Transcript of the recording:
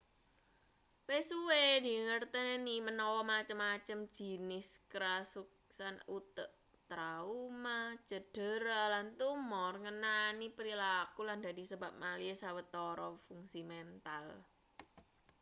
wis suwe dingerteni manawa macem-macem jinis karuksan utek trauma cedera lan tumor ngenani prilaku lan dadi sebab malihe sawetara fungsi mental